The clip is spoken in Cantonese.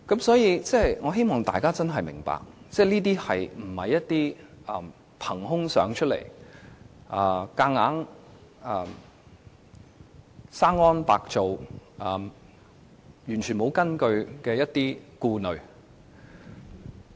所以，我希望大家真的明白，這些並非憑空想象出來，無中生有，完全沒有根據的顧慮。